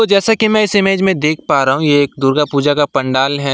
जैसे कि मैं इस इमेज में देख पा रहा हूं ये एक दुर्गा पूजा का पंडाल है।